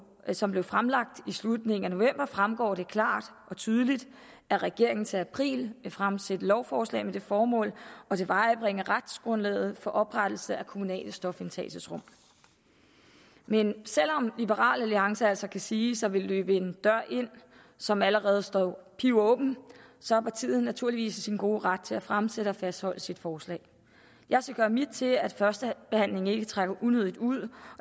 som blev fremlagt i slutningen af november fremgår det klart og tydeligt at regeringen til april vil fremsætte lovforslag med det formål at tilvejebringe retsgrundlaget for oprettelse af kommunale stofindtagelsesrum men selv om liberal alliance altså kan siges at ville løbe en dør ind som allerede står pivåben så er partiet naturligvis i sin gode ret til at fremsætte og fastholde sit forslag jeg skal gøre mit til at førstebehandlingen ikke trækker unødigt ud og